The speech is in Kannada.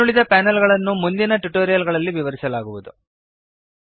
ಇನ್ನುಳಿದ ಪ್ಯಾನಲ್ ಗಳನ್ನು ಮುಂದಿನ ಟ್ಯುಟೋರಿಯಲ್ ಗಳಲ್ಲಿ ವಿವರಿಸಲಾಗುವುದು